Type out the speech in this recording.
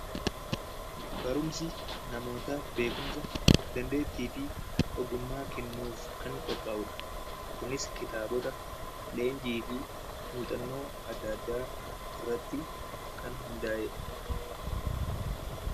Barumsi namoota beekumsa, dandeettii fi ogummaa kennuuf kan qophaa'udha. Kunis kitaabota, leenjii fi muuxannoo addaa addaa irratti kan hundaa'edha.